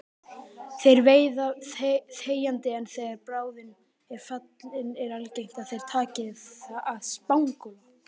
Þeir veiða þegjandi en þegar bráðin er fallin er algengt að þeir taki að spangóla.